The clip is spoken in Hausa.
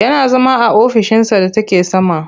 Yana zama a ofishinsa da take sama.